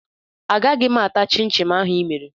Agaghị m ata chịn chịn ahụ ị mere